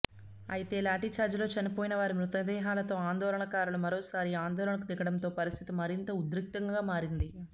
అయితే లాఠీచార్జిలో చనిపోయినవారి మృతదేహాలతో ఆందోళనకారులు మరోసారి ఆందోళనకు దిగడంతో పరిస్థితి మరింత ఉద్రిక్తతంగా మారింది